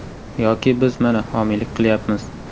Yoki biz mana, homiylik qilyapmiz.